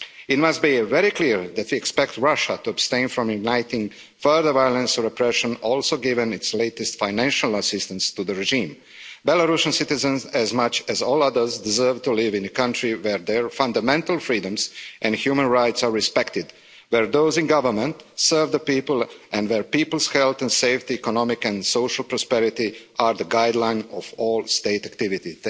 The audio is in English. It must be very clear that we expect Russia to abstain from igniting further violence or repression, also given its latest financial assistance to the regime. Belarusian citizens, as much as all others, deserve to live in a country where their fundamental freedoms and human rights are respected, where those in government serve the people and where people's health and safety, and economic and social prosperity are the guideline for all state activity.